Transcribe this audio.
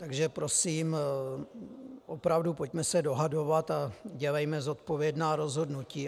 Takže prosím, opravdu pojďme se dohadovat a dělejme zodpovědná rozhodnutí.